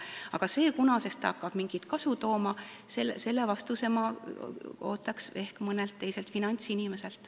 Kuid vastust, mis vanusest hakkab see mingit kasu tooma, ootaks ma mõnelt finantsinimeselt.